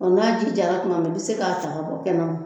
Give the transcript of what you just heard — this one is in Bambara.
n'a ji jara tuma min i bɛ se k'a ta bɔ kɛnɛ ma.